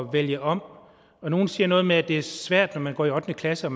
vælge om og nogle siger noget med at det er svært når man går i ottende klasse og